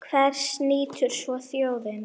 Hvers nýtur svo þjóðin?